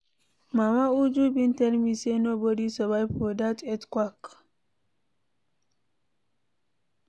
Mama Uju bin tell me say nobody survive for dat earthquake.